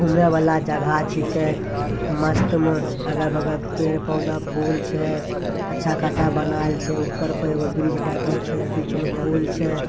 घूमे वाला जगह छींके मस्त में अगल-बगल पेड़-पौधा फूल छै अच्छा खासा बनाएल छै ऊपर पर एकटा ब्रिज टाइप में छै बीच में फूल छै।